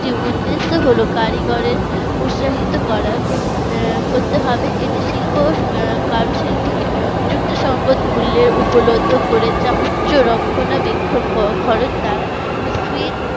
একটি উদ্দেশ্য হলো কারিগরের উৎসাহিত করা আহ করতে হবে এটি শিল্পের কারু শিল্প কে সঙ্গত মূল্যের উপলব্ধ করে যা উচ্চ রক্ষণাবেক্ষণ খরচ দ্বারা